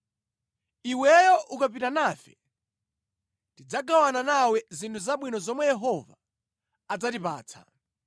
Iweyo ukapita nafe, tidzagawana nawe zinthu zabwino zomwe Yehova adzatipatsa.”